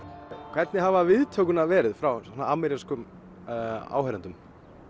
hvernig hafa viðtökurnar verið frá amerískum áheyrendum